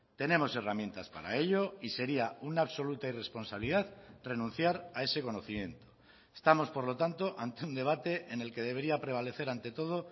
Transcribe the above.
tenemos herramientas para ello y sería una absoluta irresponsabilidad renunciar a ese conocimiento estamos por lo tanto ante un debate en el que debería prevalecer ante todo